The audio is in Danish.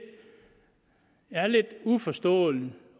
uforstående